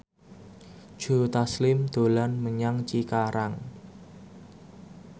Joe Taslim dolan menyang Cikarang